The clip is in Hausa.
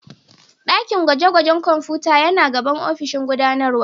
Dakin gwaje-gwajen kwamfuta yana gaban ofishin gudanarwa